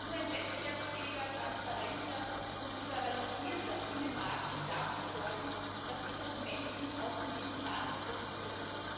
Nur ein wettbewerbsfähiger, transparenter und liberalisierter Binnenmarkt wird dafür sorgen, dass die Konsumenten auch von diesem Wandel profitieren.